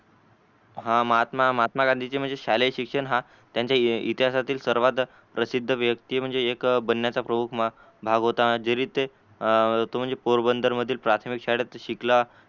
हा महात्मा महात्मा गांधीचे शालीये शिक्षण हा त्यांच्या इतिहासातील सर्वात प्रसिद्धी व्यक्ति म्हणजे एक बनण्याचा प्रमुख भाग होत जरी ते अं पोरबंदर मधील प्राथमिक शाळेत शिकला.